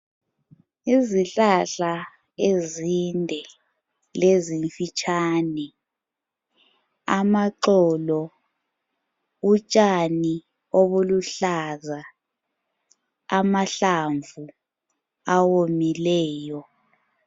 Izihlahla ezinde lezimfitshane. Amaxolo, utshani obuluhlaza amahlamvu awomileyo.